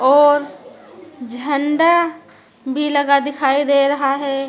और झंडा भी लगा दिखाई दे रहा है।